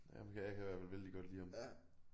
Jamen kan jeg kan i hvert fald vældig godt lide ham